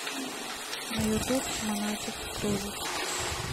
на ютуб монатик кружит